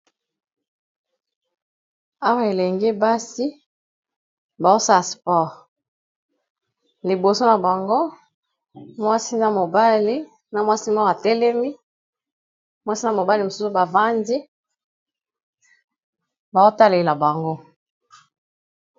Awa elengi basi baosaspore liboso na bango ,mwasi na mobali na mwasi moo atelemi mwasi na mobali mosusu bavandi baotalela bango.